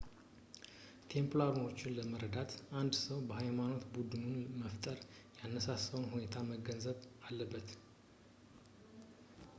ቴምፕላሮችን ለመረዳት አንድ ሰው የሃይማኖት ቡድኑን መፈጠር ያነሳሳውን ሁኔታ መገንዘብ አለበት